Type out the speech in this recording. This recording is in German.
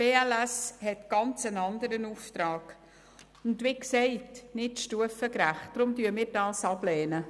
Die BLS hat einen ganz anderen Auftrag, und weil es zudem nicht stufengerecht ist, lehnen wir diesen Vorstoss ab.